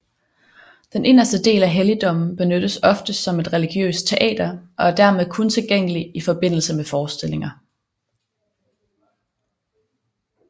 Den inderste del af helligdommen benyttes oftest som et religiøst teater og er dermed kun tilgængelig i forbindelse med forestillinger